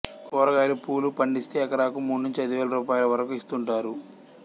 కూర గాయలు పూలు పండిస్తే ఎకరాకు మూడు నుంచి ఐదు వేల రూపాయల వరకూ ఇస్తుంటారు